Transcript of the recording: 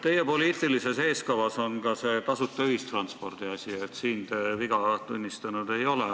Teie poliitilises eeskavas on ka see tasuta ühistranspordi asi, siin te viga tunnistanud ei ole.